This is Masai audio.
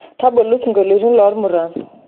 tabolu singolitin lomuran